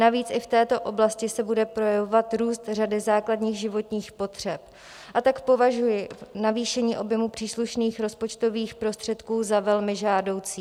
Navíc i v této oblasti se bude projevovat růst řady základních životních potřeb, a tak považuji navýšení objemu příslušných rozpočtových prostředků za velmi žádoucí.